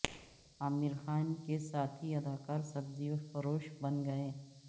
عامر خان کے ساتھی اداکار سبزی فروش بن گئے